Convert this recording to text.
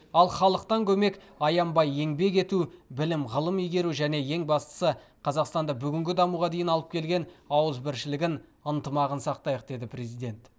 ал халықтан көмек аянбай еңбек ету білім ғылым игеру және ең бастысы қазақстанды бүгінгі дамуға дейін алып келген ауызбіршілігін ынтымағын сақтайық деді президент